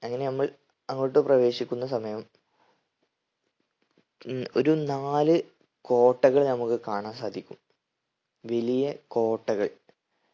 അങ്ങനെ നമ്മൾ അങ്ങോട്ട് പ്രവേശിക്കുന്ന സമയം ഉം ഒരു നാല് കോട്ടകൾ നമുക്ക് കാണാൻ സാധിക്കും വലിയ കോട്ടകൾ